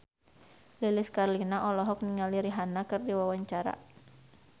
Lilis Karlina olohok ningali Rihanna keur diwawancara